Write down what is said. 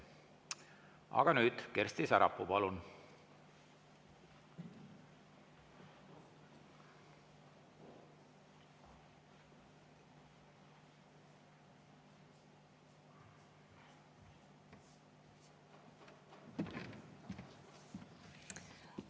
Aga nüüd, Kersti Sarapuu, palun!